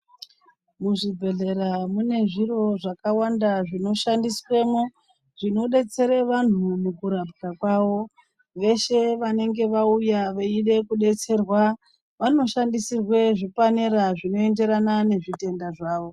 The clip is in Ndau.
Muzvibhedhlera mune zviro zvakawanda zvinoshandiswemwo zvinodetsere vantu kurapwa kwavo veshe vanenge vauya veide kudetserwa vanoshandisirwe zvipanera zvinoenderana nezvitenda zvawo